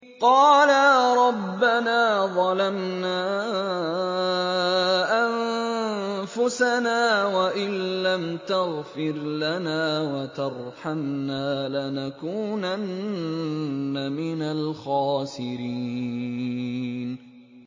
قَالَا رَبَّنَا ظَلَمْنَا أَنفُسَنَا وَإِن لَّمْ تَغْفِرْ لَنَا وَتَرْحَمْنَا لَنَكُونَنَّ مِنَ الْخَاسِرِينَ